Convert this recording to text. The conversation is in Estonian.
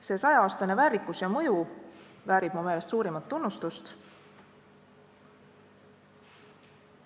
See saja-aastane väärikus ja mõju väärib mu meelest suurimat tunnustust.